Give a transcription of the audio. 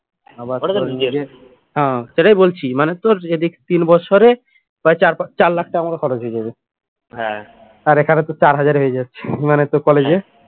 হ্যাঁ সেটাই বলছি মানে তোর এদিকে তিন বছরে প্রায় চার চার লাখ টাকা মতো খরচ হয়ে যাবে আর এখানে তো চার হাজারে এ হয়ে যাচ্ছে মানে তোর college এ